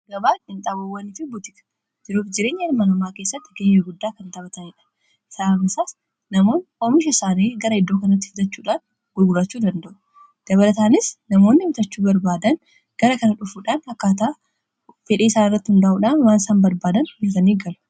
Gabaan qinxaabowwan itti butiika jiruuf jireenya ilmaan namaa keessatti gaheee guddaa kan taphaataniidhan. Sababni isaas namoonni oomisha isaanii gara iddoo kanaatti fidaachuudhaan gurgurachuu dandaa'u dabalaataanis namoonni biitachuu barbaadan gara kana dhufuudhaan akkaataa fedhii isaanirratti hundaa'uudhaan waan isaan barbaadan biitanii galu.